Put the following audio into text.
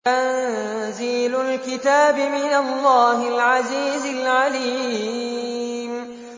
تَنزِيلُ الْكِتَابِ مِنَ اللَّهِ الْعَزِيزِ الْعَلِيمِ